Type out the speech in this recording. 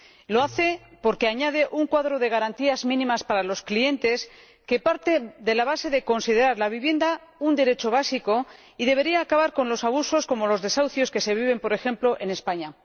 Lo hace porque añade un cuadro de garantías mínimas para los clientes que parte de la base de considerar la vivienda un derecho básico y debería acabar con los abusos, como los desahucios, que se viven, por ejemplo, en España.